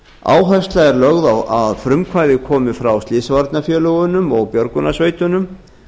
áhersla er lögð á að frumkvæði komi frá slysavarnafélögunum og björgunarsveitunum